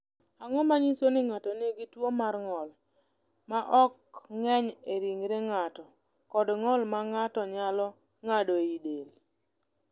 "Ang’o ma nyiso ni ng’ato nigi tuwo mar ng’ol ma ok ng’eny e ringre ng’ato kod ng’ol ma ng’ato nyalo ng’ado e del?"